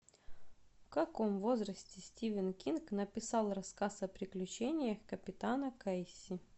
в каком возрасте стивен кинг написал рассказ о приключениях капитана кейси